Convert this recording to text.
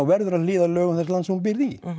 verður að hlýða lögum þess lands sem þú býrð í